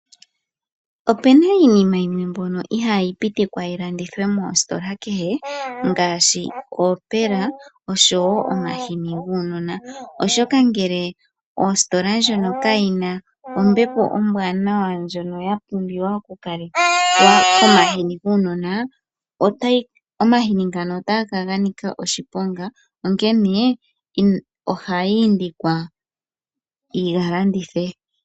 Opena iinima yimwe mbyono ihaayi pitikwa yilandithwe moositola kehe ngaashi oopela oshowo omahini guunona. Oshoka ngele ositola ndjono kayina ombepo ombwanawa ndjono ya pumbiwa okulekelwa komahini guunona, omahini ngano otaga kala ga nika oshiponga onkene ohayi indikwa yi galandithwe.